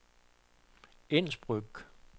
Innsbruck